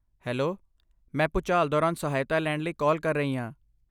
hello, ਮੈਂ ਭੁਚਾਲ ਦੌਰਾਨ ਸਹਾਇਤਾ ਲੈਣ ਲਈ ਕਾਲ ਕਰ ਰਹੀ ਹੈ